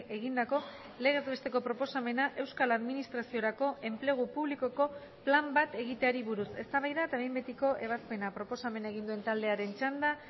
egindako legez besteko proposamena euskal administraziorako enplegu publikoko plan bat egiteari buruz eztabaida eta behin betiko ebazpena proposamena egin duen taldearen txanda